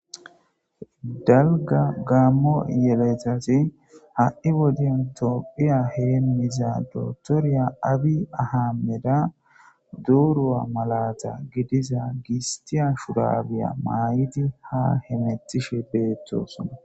dalga gaammo yeletase ha7i wodiyn tophiya heemmiza dotoriya abi ahaammeda duurua malata gidiza gistiya shudabiya maayidi ha hemetishe beettosona